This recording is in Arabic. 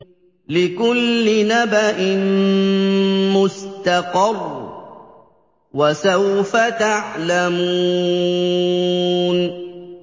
لِّكُلِّ نَبَإٍ مُّسْتَقَرٌّ ۚ وَسَوْفَ تَعْلَمُونَ